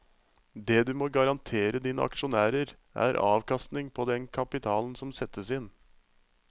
Det du må garantere dine aksjonærer, er avkastning på den kapitalen som settes inn.